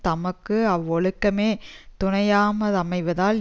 தமக்கு அவ்வொழுக்கமே துணையாமா அமைதலால்